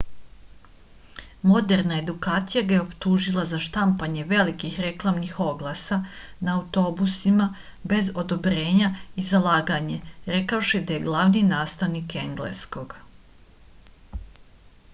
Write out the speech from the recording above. moderna edukacija ga je optužila za štampanje velikih reklamnih oglasa na autobusima bez odobrenja i za laganje rekavši da je glavni nastavnik engleskog